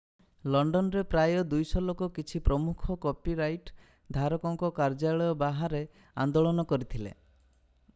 London ରେ ପ୍ରାୟ 200 ଲୋକ କିଛି ପ୍ରମୁଖ କପି ରାଇଟ ଧାରକଙ୍କ କାର୍ଯ୍ୟଳୟ ବାହାରେ ଆନ୍ଦୋଳନ କରିଥିଲେ